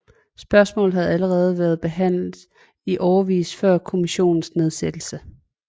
Spørgsmålet havde allerede været behandlet i årevis før kommissionens nedsættelse